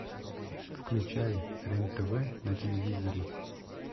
включай рен тв на телевизоре